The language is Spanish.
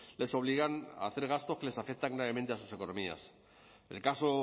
les obligan a hacer gastos que les afectan gravemente a sus economías el caso